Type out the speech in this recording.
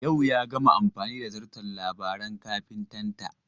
Yau ya gama amfani da zarton Labaran kafitanta.